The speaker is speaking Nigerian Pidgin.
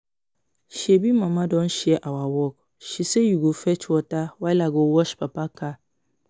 Shebi mama don share our work. She sey you go fetch water while I go wash papa car